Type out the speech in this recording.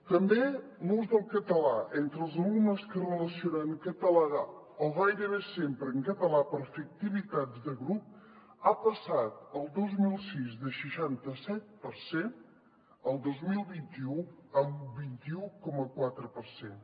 també l’ús del català entre els alumnes que es relacionen en català o gairebé sempre en català per fer activitats de grup ha passat el dos mil sis del seixanta set per cent a el dos mil vint u un vint un coma quatre per cent